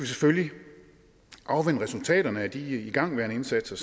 selvfølgelig afvente resultaterne af de igangværende indsatser